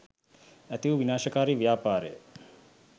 ඇති වූ විනාශකාරී ව්‍යාපාර ය.